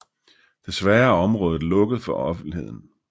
Desværre er området lukket for offentligheden